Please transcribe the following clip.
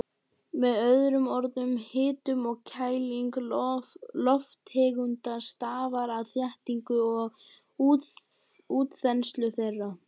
Með öðrum orðum, hitun og kæling lofttegunda stafar af þéttingu og útþenslu þeirra.